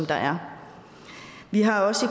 der er vi har også